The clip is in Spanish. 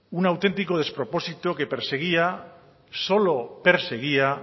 un auténtico despropósito que perseguía solo perseguía